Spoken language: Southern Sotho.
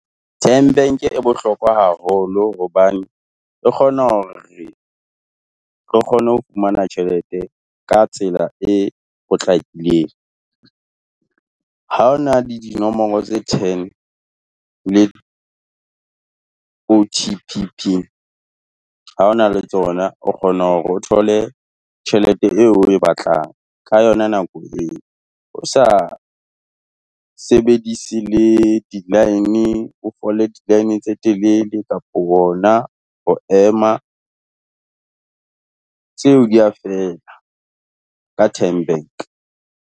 TymeBank e bohlokwa haholo hobane, re kgona hore re kgone ho fumana tjhelete ka tsela e potlakileng. Ha o na le dinomoro tse ten le O_T_P PIN ha ho na le tsona, o kgone hore o thole tjhelete eo oe batlang ka yona nako eo, o sa sebedise le di-line, o fole di-line tse telele kapo hona ho ema. Tseo di a fela ka TymeBank.